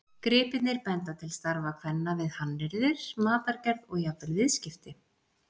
Gripirnir benda til starfa kvenna við hannyrðir, matargerð og jafnvel viðskipti.